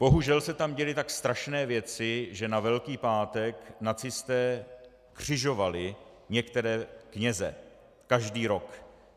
Bohužel se tam děly tak strašné věci, že na Velký pátek nacisté křižovali některé kněze - každý rok.